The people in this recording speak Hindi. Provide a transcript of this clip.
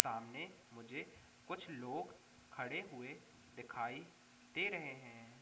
सामने मुझे कुछ लोग खड़े हुए दिखाई दे रहे हैं।